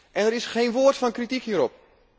En er is geen woord van kritiek hierop.